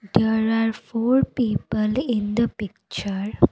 there are four people in the picture.